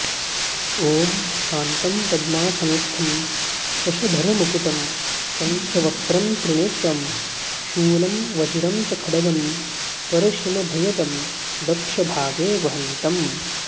ॐ शान्तं पद्मासनस्थं शशधरमुकुटं पञ्चवक्त्रं त्रिनेत्रं शूलं वज्रं च खड्गं परशुमऽभयदं दक्षभागे वहन्तम्